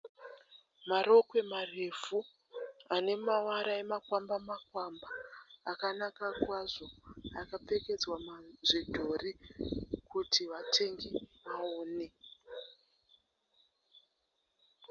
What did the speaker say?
Marokwe marefu ane mavara emakwamba makwamba akanaka kwazvo akapfekedzwa zvidhori kuti vatengi vaone.